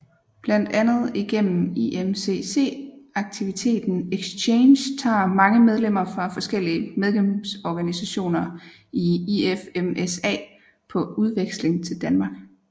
Blandt andet igennem IMCC aktiviteten Exchange tager mange medlemmer fra forskellige medlemsorganisationer i IFMSA på udveksling til Danmark